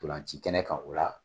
Ntolanci kɛnɛ kan o la